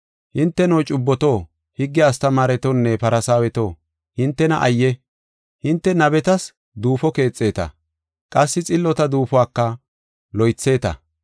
“Hinteno, cubboto, higge astamaaretonne Farsaaweto, hintena ayye! Hinte nabetas duufo keexeta, qassi xillota duufuwaka loytheeta.